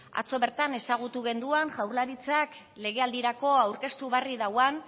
atzo bertan ezagutu genduan jaurlaritzak legealdirako aurkeztu berri dauan